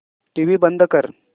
TV बंद कर